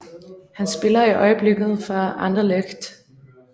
Han spiller i øjeblikket for Anderlecht